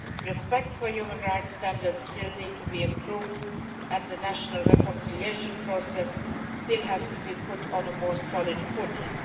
Respect for human rights standards still needs to be improved and the national reconciliation process still has to be put on a more solid footing.